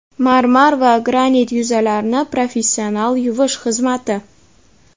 marmar va granit yuzalarni professional yuvish xizmati.